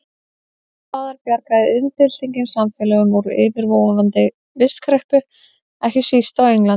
Annars staðar bjargaði iðnbyltingin samfélögum úr yfirvofandi vistkreppu, ekki síst á Englandi.